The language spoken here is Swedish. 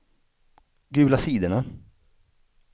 gula sidorna